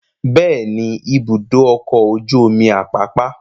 Bẹ́ẹ̀ ni, Ibùdó-ọkọ̀ ojú-omi Àpápá.